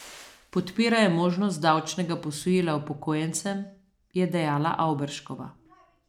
Podpirajo možnost davčnega posojila upokojencem, je dejala Avberškova.